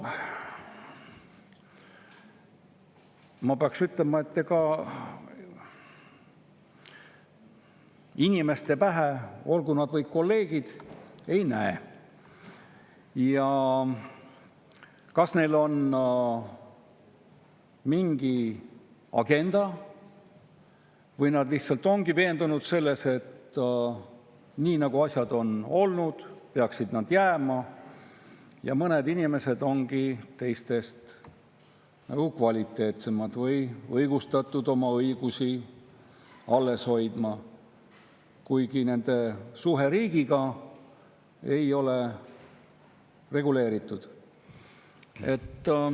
Ma pean ütlema, et ega inimeste pähe, olgu nad või kolleegid, ei näe, et kas neil on mingi agenda või nad lihtsalt ongi veendunud selles, et nii, nagu asjad on olnud, peaksid need ka jääma, et mõned inimesed ongi teistest nagu kvaliteetsemad või on õigustatud nende õiguste alleshoidmine, kuigi nende suhe riigiga ei ole reguleeritud.